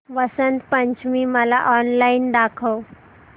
वसंत पंचमी मला ऑनलाइन दाखव